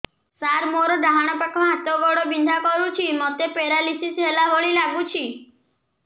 ସାର ମୋର ଡାହାଣ ପାଖ ହାତ ଗୋଡ଼ ବିନ୍ଧା କରୁଛି ମୋତେ ପେରାଲିଶିଶ ହେଲା ଭଳି ଲାଗୁଛି